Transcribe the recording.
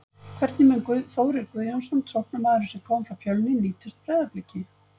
Hvernig mun Þórir Guðjónsson, sóknarmaðurinn sem kom frá Fjölni, nýtast Breiðabliki?